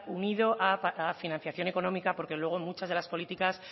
unido a financiación económica porque luego muchas de las políticas